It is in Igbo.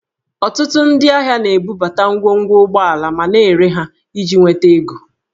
Ọtụtụ ndị ahịa na-ebubata ngwongwo ụgbọala ma na-ere ha iji nweta ego